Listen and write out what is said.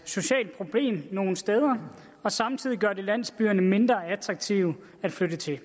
socialt problem nogle steder og samtidig gør det landsbyerne mindre attraktive at flytte til